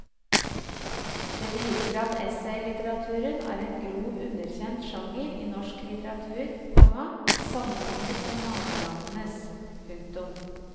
Det viser at essaylitteraturen er en grovt underkjent sjanger i norsk litteratur, komma sammenlignet med nabolandenes. punktum